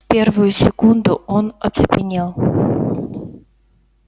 в первую секунду он оцепенел